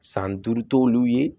San duuru t'olu ye